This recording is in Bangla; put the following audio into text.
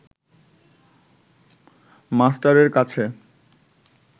মাস্টারের কাছে